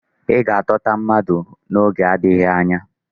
Ị ga-atọta mmadụ n'oge nadịghị anya.